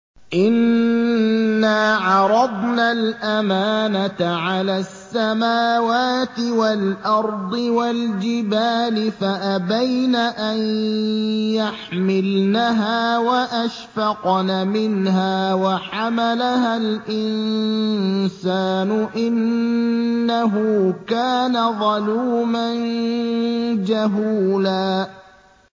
إِنَّا عَرَضْنَا الْأَمَانَةَ عَلَى السَّمَاوَاتِ وَالْأَرْضِ وَالْجِبَالِ فَأَبَيْنَ أَن يَحْمِلْنَهَا وَأَشْفَقْنَ مِنْهَا وَحَمَلَهَا الْإِنسَانُ ۖ إِنَّهُ كَانَ ظَلُومًا جَهُولًا